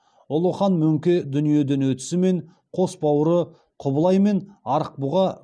ұлы хан мөңке дүниеден өтісімен қос бауыры құбылай мен арықбұға